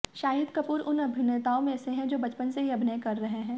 शाहिद कपूर उन अभिनेताओं में से हैं जो बचपन से ही अभिनय कर रहे हैं